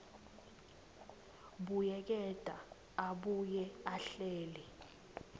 buyeketa abuye ahlele